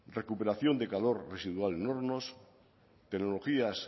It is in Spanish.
recuperación de calor residual en hornos tecnologías